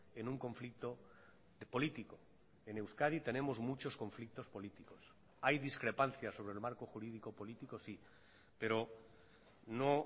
en un conflicto político en euskadi tenemos muchos conflictos políticos hay discrepancia sobre el marco jurídico político sí pero no